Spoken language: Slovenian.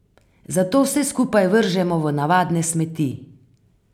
Zato vse skupaj vržemo v navadne smeti.